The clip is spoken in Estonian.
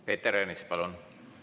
Peeter Ernits, palun!